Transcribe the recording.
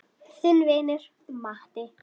Þinn vinur Matti.